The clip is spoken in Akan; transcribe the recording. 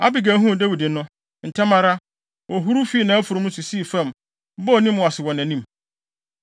Abigail huu Dawid no, ntɛm ara, ohuruw fii nʼafurum no so sii fam, bɔɔ ne mu ase wɔ nʼanim.